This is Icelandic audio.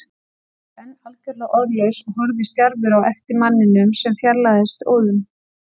Ég var enn algjörlega orðlaus og horfði stjarfur á eftir manninum sem fjarlægðist óðum.